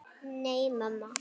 Nei, mamma.